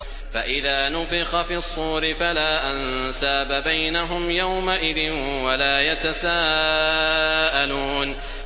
فَإِذَا نُفِخَ فِي الصُّورِ فَلَا أَنسَابَ بَيْنَهُمْ يَوْمَئِذٍ وَلَا يَتَسَاءَلُونَ